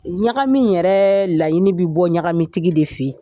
Ɲagami yɛrɛ laɲini bi bɔ ɲagami tigi de fe yen.